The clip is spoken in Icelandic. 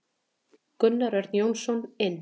Gunnar Örn Jónsson inn.